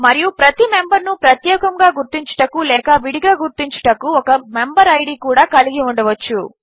మరియు ప్రతి మెంబర్ను ప్రత్యేకముగా గుర్తించుటకు లేక విడిగా గుర్తించుటకు ఒక మెంబెరిడ్ కూడా కలిగి ఉండవచ్చు